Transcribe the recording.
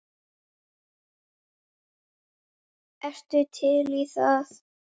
Ertu til í það?